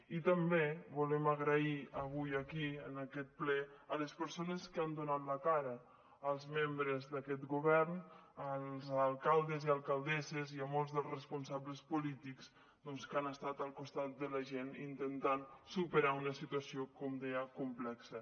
i també volem donar les gràcies avui aquí en aquest ple a les persones que han donat la cara als membres d’aquest govern als alcaldes i alcaldesses i a molts dels responsables polítics doncs que han estat al costat de la gent per intentar superar una situació com deia complexa